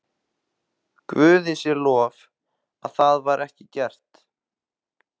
Guði sé lof að það var ekki gert.